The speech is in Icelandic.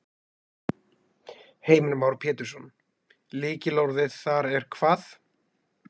Heimir Már Pétursson: Lykilorðið þar er hvað?